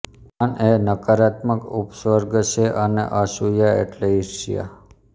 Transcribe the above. અન એ નકારાત્મક ઉપસર્ગ છે અને અસૂયા એટલે ઈર્ષ્યા